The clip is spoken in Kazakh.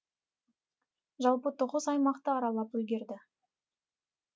жалпы тоғыз аймақты аралап үлгерді